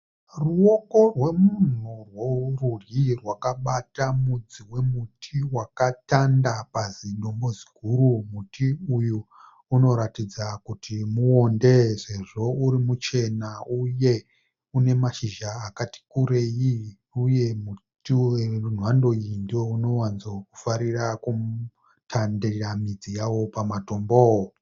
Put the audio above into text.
Ruvoko rwemumunhi rwerudyi rwakabata mudzi wemuti wakatanda pazidombo ziguru muti uyu unoratidza kuti muonde nekuti sezvo uri muchena uye unemashizha akati kurei uye muti hwemhando uyu ndounowanzofarira kutandira midzi yawo pamatombo.